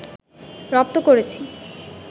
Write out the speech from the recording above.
রপ্ত করেছি